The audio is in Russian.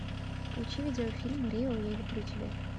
включи видеофильм рио я люблю тебя